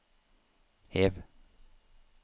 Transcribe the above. hev